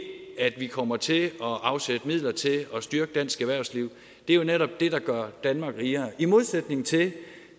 at vi kommer til at afsætte midler til at styrke dansk erhvervsliv er jo netop det der gør danmark rigere i modsætning til